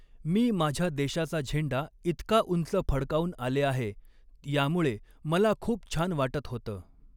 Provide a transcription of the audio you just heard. मी माझ्य़ा देशाचा झेंडा इतका उंच फडकावून आले आहे, यामुळे मला खूप छान वाटत होतं.